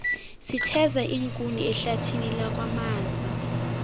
sitheza iinkuni ehlathini lakwamaza